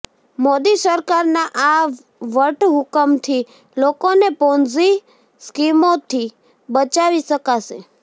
મોદી સરકારના આ વટહુકમથી લોકોને પોન્ઝી સ્કીમોથી બચાવી શકાશે